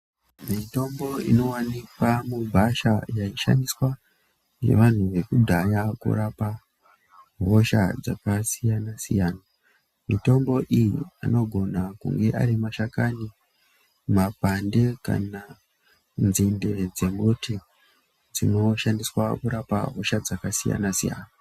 Mitombo inowanikwa mugwasha yaishandiswa ngevantu vekudhaya kurapa hosha dzakasiyana siyana. Mitombo iyi anogona arimashakani ,makwande kana nzinde dzembuti dzinoshandiswa kurapa hosha dzakasiyana siyana.